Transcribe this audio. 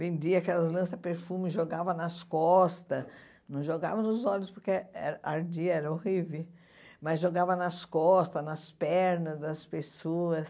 Vendia aquelas lança-perfume, jogava nas costas, não jogava nos olhos porque ardia, era horrível, mas jogava nas costas, nas pernas das pessoas.